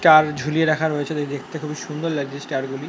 Star ঝুলিয়ে রাখা রয়েছে তাই দেখতে খুবই সুন্দর লাগছে ষ্টার - গুলি।